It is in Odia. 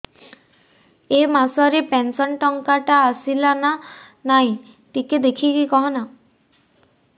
ଏ ମାସ ରେ ପେନସନ ଟଙ୍କା ଟା ଆସଲା ନା ନାଇଁ ଟିକେ ଦେଖିକି କହନା